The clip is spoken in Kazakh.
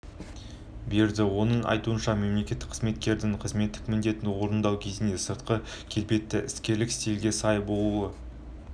берді оның айтуынша мемлекеттік қызметкердің қызметтік міндетін орындау кезіндегі сыртқы келбеті іскерлік стилге сай болуы